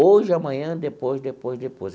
Hoje, amanhã, depois, depois, depois.